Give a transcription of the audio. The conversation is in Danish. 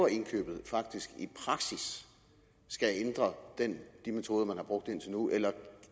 indkøbet faktisk i praksis skal ændre de metoder man har brugt indtil nu eller